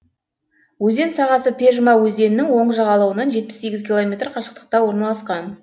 өзен сағасы пежма өзенінің оң жағалауынан жетпіс сегіз километр қашықтықта орналасқан